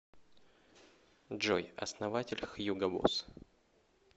джой основатель хьюго босс